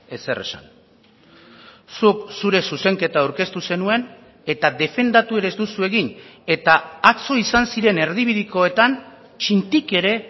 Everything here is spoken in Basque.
ezer esan zuk zure zuzenketa aurkeztu zenuen eta defendatu ere ez duzu egin eta atzo izan ziren erdibidekoetan txintik ere